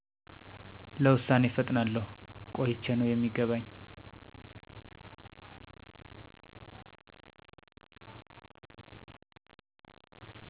ለውሳኔ እፈጥናለሁ ቆይቸ ነው የሚገባኝ